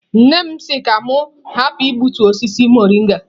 Nne m si ka unu hapụ igbutu osisi mọrịnga.